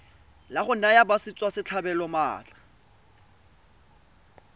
la go naya batswasetlhabelo maatla